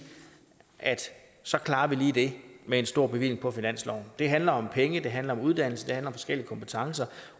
at så klarer vi lige det med en stor bevilling på finansloven det handler om penge det handler om uddannelse det handler om forskellige kompetencer